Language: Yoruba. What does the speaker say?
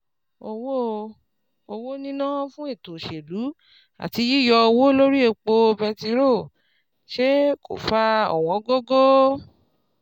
Owó Owó níná fún ètò òṣèlú àti yíyọ owó lórí epo bẹtiró ṣe kó fa ọ̀wọ́n gógó.